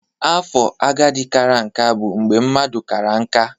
Afo agadi kara aka bụ mgbe mmadụ kara nká.